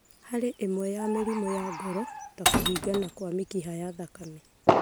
Harĩ ĩmwe ya mĩrimũ ya ngoro ta kũhingana kwa mĩkiha ya thakame.